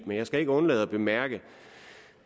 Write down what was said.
men jeg skal ikke undlade at bemærke